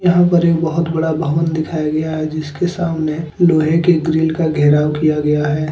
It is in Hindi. यहां पर एक बहुत बड़ा भवन दिखाया गया है जिसके सामने लोहे के ग्रील का घेराव किया गया है।